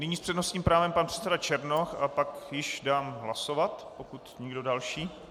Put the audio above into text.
Nyní s přednostním právem pan předseda Černoch a pak již dám hlasovat, pokud nikdo další.